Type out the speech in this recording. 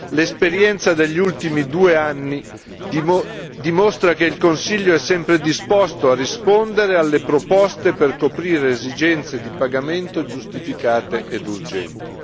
L'esperienza degli ultimi due anni dimostra che il Consiglio è sempre disposto a rispondere alle proposte per coprire le esigenze di pagamento giustificate ed urgenti.